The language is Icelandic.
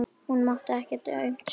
Hún mátti ekkert aumt sjá.